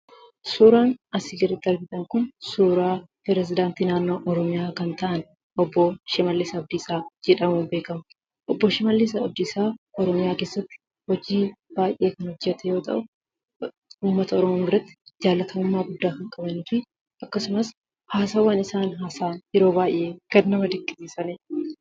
Suuraan asii gaditti argitan kun suuraa pirezidaantii naannoo Oromiyaa kan ta'an obbo Shimaallis Abdiisaa jedhamuun beeekamu. Obbo Shimaallis Abdiisaa Oromiyaa keessatti hojii baay'ee kan hojjete yoo ta'u, ummata Oromoo biratti jaalatamummaa guddaa kan qabanuu fi akkasumas haasawaan isaan haasa'an yeroo baay'ee kan nama dinqisiisanii dha.